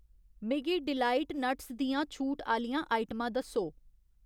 मिगी delight nuts दियां छूट आह्‌लियां आइटमां दस्सो